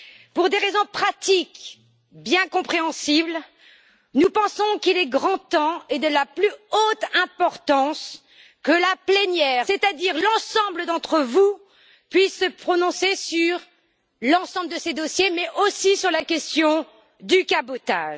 Pour des raisons pratiques bien compréhensibles, nous pensons qu'il est grand temps et de la plus haute importance que la plénière, c'est à dire l'ensemble d'entre vous, puisse se prononcer sur l'ensemble de ces dossiers, mais aussi sur la question du cabotage.